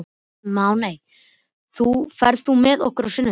Máney, ferð þú með okkur á sunnudaginn?